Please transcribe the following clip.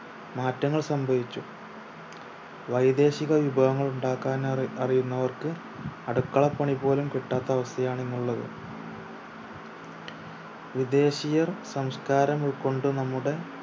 മാറ്റങ്ങൾ സംഭവിച്ചു വൈദേശിക വിഭവങ്ങൾ ഉണ്ടാക്കാൻ അറി അറിയുന്നവർക്ക് അടുക്കള പണി പോലും കിട്ടാത്ത അവസ്ഥ ആണ് ഇന്നുള്ളത് വിദേശീയർ സംസ്കാരം ഉൾക്കൊണ്ട് നമ്മുടെ